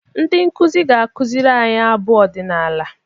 Ndị nkuzi ga-akụziri anyị abụ ọdịnala.